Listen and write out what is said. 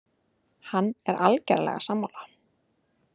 Hann er algerlega sammála